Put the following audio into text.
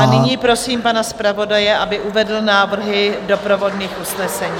A nyní prosím pana zpravodaje, aby uvedl návrhy doprovodných usnesení.